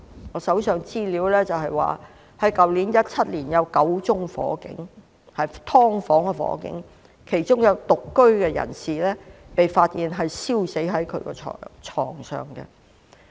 我手上的資料顯示，去年2017年，有9宗發生在"劏房"的火警，其中有獨居人士被發現燒死在床上。